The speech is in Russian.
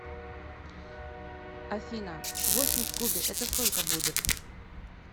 афина восемь в кубе это сколько будет